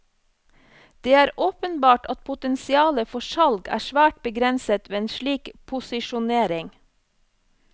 Det er åpenbart at potensialet for salg er svært begrenset ved en slik posisjonering.